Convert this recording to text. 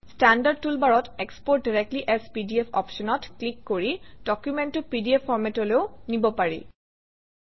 standard টুলবাৰত export directly as PDF অপশ্যনত click কৰি ডকুমেণ্টটো পিডিএফ ফৰমেটলৈও নিব পাৰি